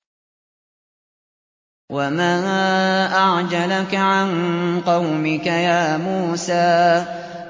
۞ وَمَا أَعْجَلَكَ عَن قَوْمِكَ يَا مُوسَىٰ